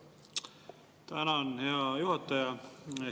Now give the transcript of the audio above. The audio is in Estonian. Tänan, hea juhataja!